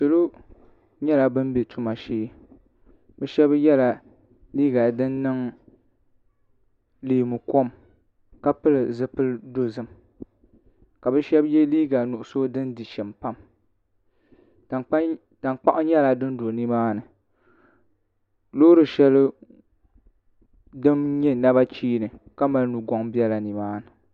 salo nyɛla ban bɛ tuma shee bi shab yɛla liiga din niŋ leemu kom ka pili zipili dozim ka bi shan yɛ liiga nuɣso din di shim pam tankpaɣu nyɛla din do nimaani loori shɛli din nyɛ naba cheeni ka mali nugoŋ biɛla nimaani